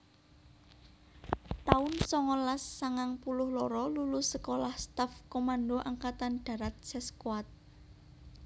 taun songolas sangang puluh loro Lulus Sekolah Staff Komando Angkatan Darat Seskoad